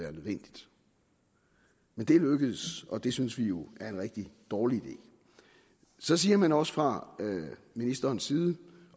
er nødvendigt men det er lykkedes og det synes vi jo er en rigtig dårlig idé så siger man også fra ministerens side